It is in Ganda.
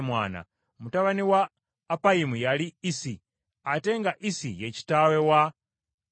Mutabani wa Appayimu yali Isi, ate nga Isi ye kitaawe wa Akulayi.